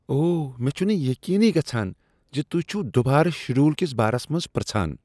اوہ، مےٚ چُھنہٕ یقینٕی گژھان ز تہۍ چھوٕ دوبارٕ شیڈول کس بارس منٛز پرژھان!